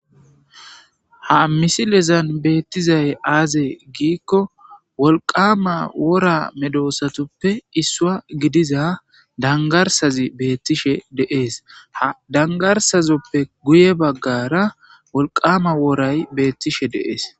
ha misilezan beettizay aaze giikko wolqama wora medoosatoppe issua gidiza dangarsazi beettishe deees ha dangarsazoppe guye baggara wolqama woray beettishe deees